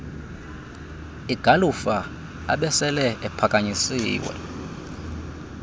igalufa abesele ephakanyisiwe